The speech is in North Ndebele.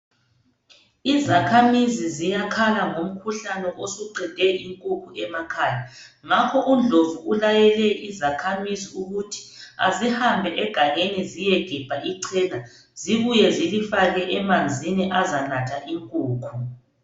Izakhamizi ziyakhala ngomkhuhlane osuqede inkukhu emakhaya ngakho uNdlovu ulayele izakhamizi ukuthi azihambe egangeni ziyegebha ichena zibuye zilifake emanzini azanatha inkukhu.